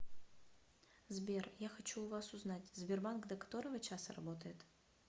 сбер я хочу у вас узнать сбербанк до которого часа работает